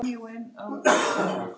Hvers vegna segi ég það?